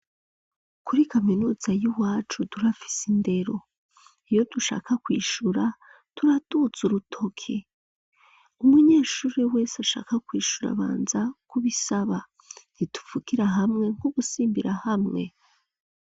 Kuri kaminuza y'iwacu turafise indero iyo dushaka kwishura turaduza urutoke, umunyeshure wese ashaka kwishura abanza kubisaba ntituvugira hamwe nk'udusimbirahamwe.